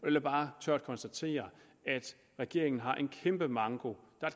jeg bare tørt konstatere at regeringen har en kæmpe manko der